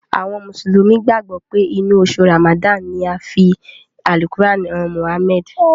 Àwọn mùsùlùmí gbàgbọ́ pé inú oṣù Ràmàdáànì ni a fi Àlùkùránì han Mụ̀hámẹ́ẹ̀dì.